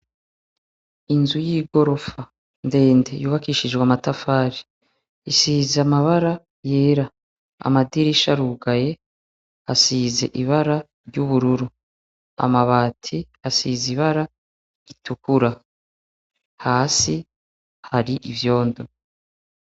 Inzu y'igorofa ndende yubakishijwe amatafari isize amabara yera amadirisha arugaye asize ibara ry'ubururu amabati asize ibara ritukura hasi hari ivyondo.